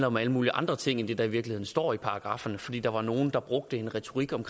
om alle mulige andre ting end det der i virkeligheden står i paragrafferne fordi der var nogle der brugte en retorik om